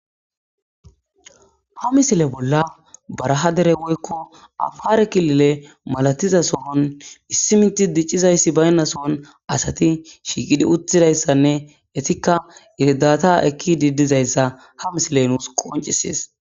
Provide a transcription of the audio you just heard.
Ha misile baraha dere woyiko afare kililen issi mithi dicidayi bayina sohon asati shiqidi uttudayisanne etika irdatha ikidayisa ha misile nusi qonccises